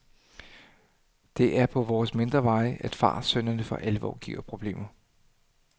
Det er på vores mindre veje, at fartsynderne for alvor giver problemer.